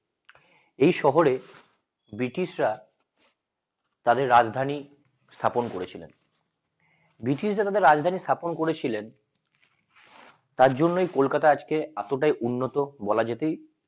এই শহরে british রা তাদের রাজধানী স্থাপন করেছিলেন british রা তাদের রাজধানী স্থাপন করেছিলেন তার জন্যই কলকাতা আজকে এতটাই উন্নত বলা যেতেই।